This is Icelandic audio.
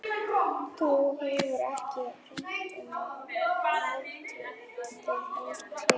Þú hefur ekki hirt um álit þeirra hingað til.